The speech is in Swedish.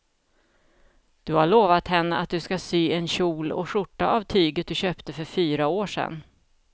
Du har lovat henne att du ska sy en kjol och skjorta av tyget du köpte för fyra år sedan.